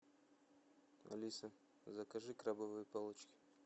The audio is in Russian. алиса закажи крабовые палочки